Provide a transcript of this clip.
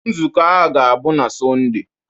Nzukọ a ga-abụ na Sọnde.